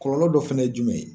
Kɔlɔlɔ dɔ fɛnɛ ye jumɛn ye.